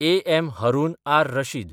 A. M. Harun ar Rashid